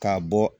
K'a bɔ